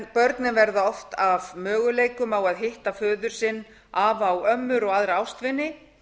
börnin verða oft af möguleikanum á að hitta föður sinn afa og ömmur og aðra ástvini